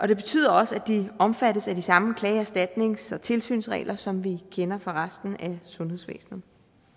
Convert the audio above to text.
det betyder også at de omfattes af de samme klage erstatnings og tilsynsregler som vi kender fra resten af sundhedsvæsenet